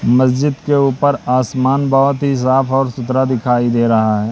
मस्जिद के ऊपर आसमान बहोत ही साफ और सुधरा दिखाई दे रहा है।